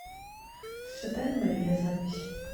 святая мария запись